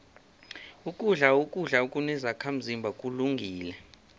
ukudla ukudla okunezakhazimba kulungile